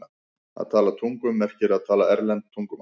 Að tala tungum merkir að tala erlend tungumál.